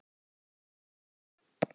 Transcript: Svo var bara áfram gakk.